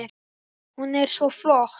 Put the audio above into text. Hún er svo flott!